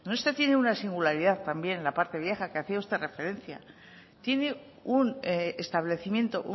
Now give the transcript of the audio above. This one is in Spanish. donostia tiene una singularidad también la parte vieja que hacia usted referencia tiene un establecimiento